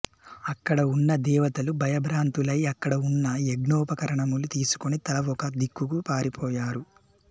అక్కడ ఉన్న దేవతలు భయభ్రాంతులై అక్కడ ఉన్న యజ్ఞోపకరణములు తీసుకుని తలా ఒక దిక్కుకు పారి పోయారు